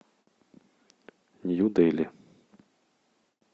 нью дели